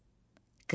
Qız dedi.